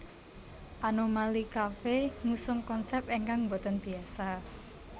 Anomali Coffee ngusung konsep ingkang mboten biasa